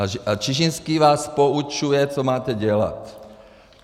A Čižinský vás poučuje, co máte dělat.